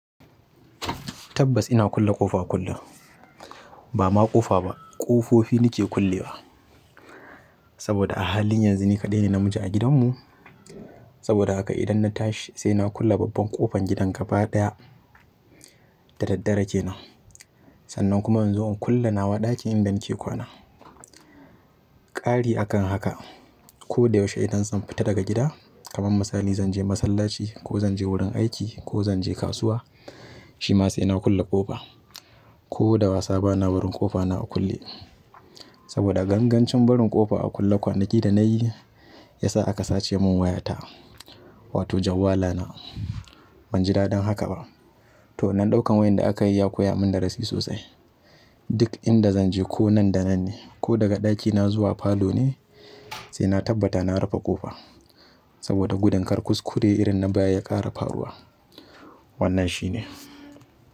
Tabbas ina kulle ƙofa a kullum, ba ma ƙofa ba, ƙofofi nake kullewa. Saboda a halin yanzu ni kaɗai ne namiji a gidanmu. Saboda haka idan na tashi sai na kulle babban ƙofar gidan gaba ɗaya da daddare kenan. Sannan kuma in zo in kulle nawa ɗakin in da nake kwana. Ƙari a kan haka, ko da yaushe idan zan fita daga gida, kamar misali zan je masallaci, ko zan je wajen aiki, ko zan kasuwa, shi ma sai na kulle ƙofa. Ko da wasa bana barin ƙofa na a kulle. Saboda gangancin barin ƙofa a kulle kwanaki da nayi ya sa aka sace mun wayata, wato jawwalana. Ban ji daɗin haka ba. To, wannan ɗaukan wayan da aka yi ya koya mun darasi sosai. Duk inda zanje ko nan da nan ne ko daga ɗakina zuwa falo ne sai na tabbata na rufe ƙofa. Saboda gudun karkuskure irin na baya ya ƙara faruwa. Wannan shine.